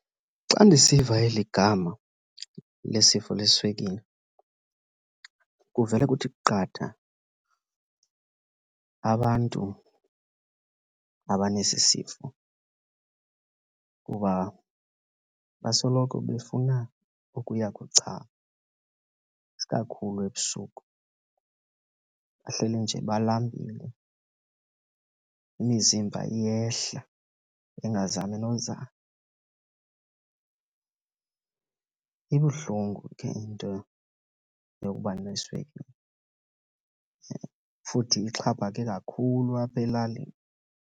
Xa ndisiva eli gama lesifo leswekile kuvele kuthi qatha abantu abanesi sifo kuba basoloko befuna ukuya kuchama, isikakhulu ebusuku. Bahleli nje balambile, imizimba iyehla bengazami nozama. Ibuhlungu ke into yokuba neswekile, futhi ixhaphake kakhulu apha elalini.